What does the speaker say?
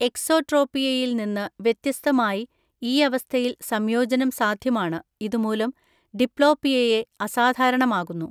എക്സോട്രോപിയയിൽ നിന്ന് വ്യത്യസ്തമായി ഈ അവസ്ഥയിൽ സംയോജനം സാധ്യമാണ്, ഇത് മൂലം ഡിപ്ലോപ്പിയയെ അസാധാരണമാകുന്നു.